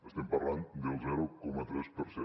estem parlant del zero coma tres per cent